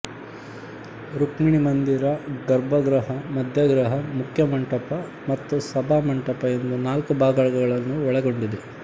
ರುಕ್ಮಿಣೀ ಮಂದಿರ ಗರ್ಭಗೃಹ ಮಧ್ಯಗೃಹ ಮುಖ್ಯಮಂಟಪ ಮತ್ತು ಸಭಾಮಂಟಪ ಎಂದು ನಾಲ್ಕು ಭಾಗಗಳನ್ನು ಒಳಗೊಂಡಿದೆ